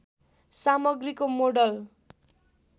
सामग्रीको मोडल